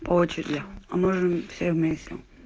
по очереди а можем все вместе